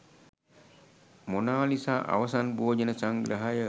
Mona Lisa අවසන් භෝජන සංග්‍රහය